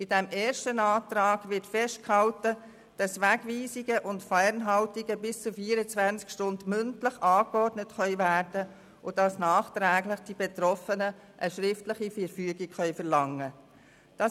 In diesem ersten Antrag wird festgehalten, dass Wegweisungen und Fernhaltungen von bis zu 24 Stunden mündlich angeordnet werden können und dass die Betroffenen nachträglich eine schriftliche Verfügung verlangen können.